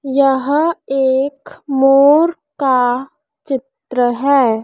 यह एक मोर का चित्र हैं।